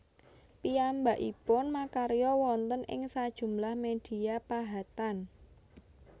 Piyambakipun makarya wonten ing sajumlah media pahatan